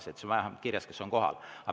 Siis on vähemalt kirjas, kes on kohal.